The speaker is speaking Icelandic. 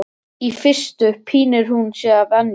Í fyrstu pínir hún sig að venju.